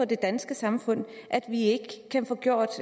det danske samfund at vi ikke kan få gjort